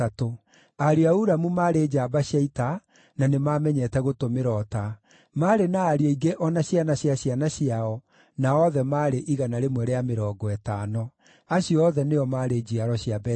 Ariũ a Ulamu maarĩ njamba cia ita, na nĩmamenyete gũtũmĩra ũta. Maarĩ na ariũ aingĩ o na ciana cia ciana ciao, na othe maarĩ 150. Acio othe nĩo maarĩ njiaro cia Benjamini.